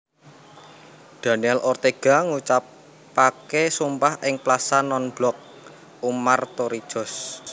Daniel Ortega ngucapaké sumpah ing Plaza Nonblok Omar Torrijos